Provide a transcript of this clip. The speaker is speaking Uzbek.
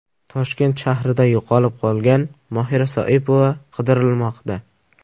Toshkent shahrida yo‘qolib qolgan Mohira Soipova qidirilmoqda.